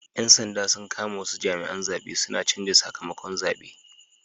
Yan sanda sun kama wasu jami'an zabe suna canza sakamakon zabe